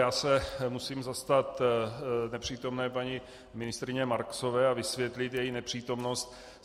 Já se musím zastat nepřítomné paní ministryně Marksové a vysvětlit její nepřítomnost.